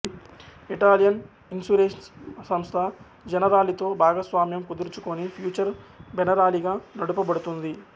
Italian insurance సంస్థ జెనరాలితో భాగస్వామ్యం కుదుర్చుకొని ఫ్యూచర్ జెనరాలి గా నడుప బడుతోంది